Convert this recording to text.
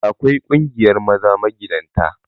Akwai ƙungiyar maza magidanta